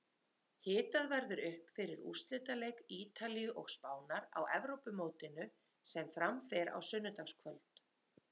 Hitað verður upp fyrir úrslitaleik Ítalíu og Spánar á Evrópumótinu sem fram fer á sunnudagskvöld.